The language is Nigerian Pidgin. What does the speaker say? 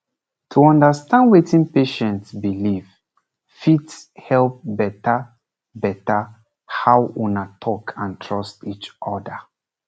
to understand wetin patient believe fit help better better how una talk and trust each other